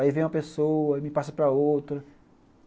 Aí vem uma pessoa, me passa para outra.